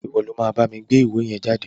Ìwo lo ma bámi gbé ìwé yen jáde